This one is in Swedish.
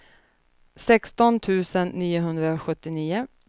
sexton tusen niohundrasjuttionio